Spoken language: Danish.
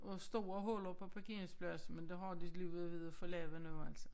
Og store huller på parkeringspladsen men det har de lige været ved at få lavet nu altså